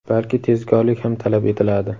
balki tezkorlik ham talab etiladi.